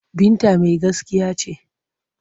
Binta mai gaskiya ce.